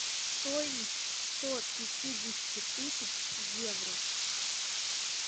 стоимость сто пятидесяти тысяч евро